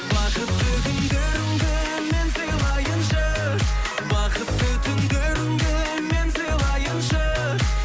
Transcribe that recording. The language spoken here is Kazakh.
бақытты күндеріңді мен сыйлайыншы бақытты түндеріңді мен сыйлайыншы